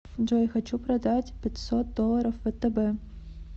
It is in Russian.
джой хочу продать пятьсот долларов втб